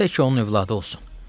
Təki onun övladı olsun.